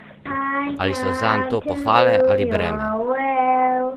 Ali so zanj to pohvale ali breme?